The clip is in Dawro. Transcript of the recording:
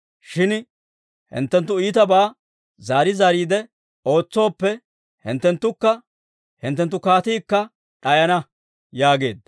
Shin hinttenttu iitabaa zaari zaariide ootsooppe, hinttenttukka hinttenttu kaatiikka d'ayana» yaageedda.